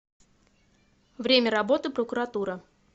время работы прокуратура